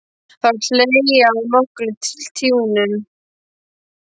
Það var heyjað á nokkrum túnum.